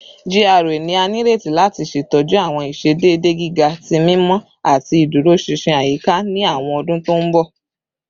GRA ni a nireti lati ṣetọju awọn iṣedede giga ti mimọ ati iduroṣinṣin ayika ni awọn ọdun to nbọ